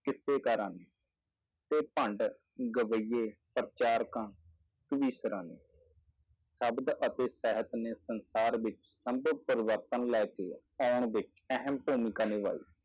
ਕਿਸੇਕਾਰਾਂ ਨੇ ਤੇ ਭੰਡ, ਗਵਈਏ, ਪ੍ਰਚਾਰਕਾਂ, ਕਵਿਸ਼ਰਾਂ ਨੇ ਸ਼ਬਦ ਅਤੇ ਸਹਿਤ ਨੇ ਸੰਸਾਰ ਵਿੱਚ ਪਰਿਵਰਤਨ ਲੈ ਕੇ ਆਉਣ ਵਿੱਚ ਅਹਿਮ ਭੂਮਿਕਾ ਨਿਭਾਈ।